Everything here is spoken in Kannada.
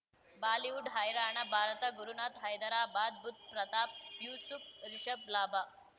ಬಾಲಿವುಡ್ ಹೈರಾಣ ಭಾರತ ಗುರುನಾಥ್ ಹೈದರಾಬಾದ್ ಬುಧ್ ಪ್ರತಾಪ್ ಯೂಸುಫ್ ರಿಷಬ್ ಲಾಭ